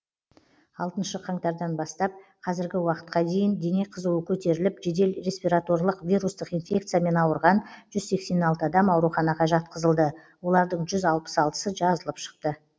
алтыншы қаңтардан бастап қазіргі уақытқа дейін дене қызуы көтеріліп жедел респираторлық вирустық инфекциямен ауырған жүз сексен алты адам ауруханаға жатқызылды олардың жүз алпыс алтысы жазылып шықты